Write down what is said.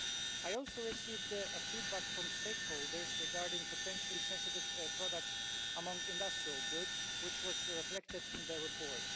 I also received feedback from stakeholders regarding potentially sensitive products among industrial goods, which was reflected in their report.